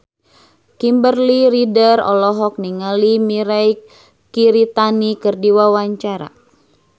Kimberly Ryder olohok ningali Mirei Kiritani keur diwawancara